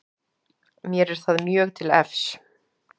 Mér er það mjög til efs